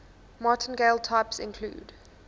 martingale types include